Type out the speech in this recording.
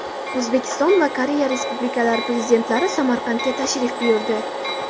O‘zbekiston va Koreya Respublikalari Prezidentlari Samarqandga tashrif buyurdi.